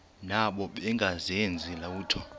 nabo bengazenzi lutho